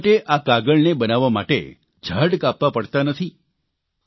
એટલા માટે આ કાગળને બનાવવા માટે ઝાડ કાપવા પડતા નથી